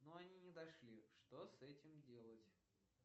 но они не дошли что с этим делать